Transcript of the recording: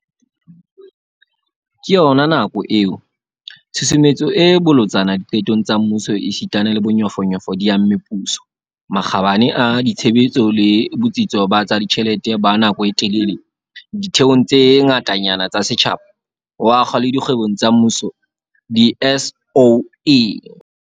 Ka yona nako eo, tshusumetso e bolotsana diqetong tsa mmuso esita le bonyofonyofo di amme puso, makgabane a ditshebetso le botsitso ba tsa ditjhelete ba nako e telele ditheong tse ngatanyana tsa setjhaba, ho akga le dikgwebong tsa mmuso, di- SOE.